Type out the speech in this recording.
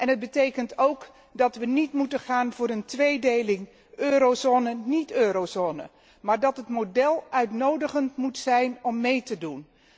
Het betekent ook dat we niet moeten gaan voor een tweedeling eurozone niet eurozone, maar dat het model uitnodigend moet zijn om mee te doen